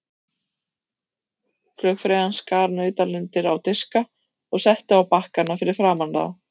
Flugfreyjan skar nautalundir á diska og setti á bakkana fyrir framan þá.